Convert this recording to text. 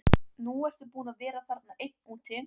Nú ertu búinn að vera þarna einn úti.